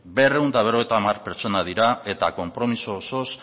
berrehun eta berrogeita hamar pertsona dira eta konpromiso osoz